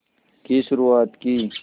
की शुरुआत की